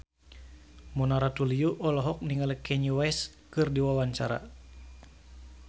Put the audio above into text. Mona Ratuliu olohok ningali Kanye West keur diwawancara